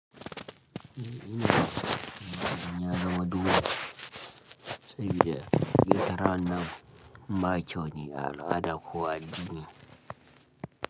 Inaonekana ni majina madogo zaidi ya Gitara na mbacho ni ada kuwa dini.